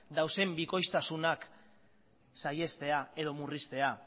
dauden bikoiztasunak saihestea edo murriztea